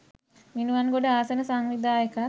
මිනුවන්ගොඩ ආසන සංවිධායකත්